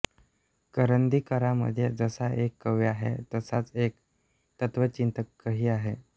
करंदीकरांमध्ये जसा एक कवी आहे तसाच एक तत्त्वचिंतकही आहे